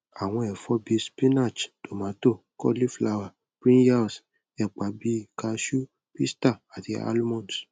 awọn ẹfọ bii spinach tomato cauliflower brinjals epa bi cashew pista ati almonds